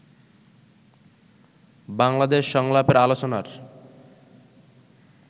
বাংলাদেশ সংলাপের আলোচনার